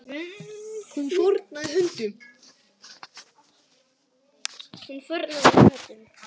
Hún fórnaði höndum.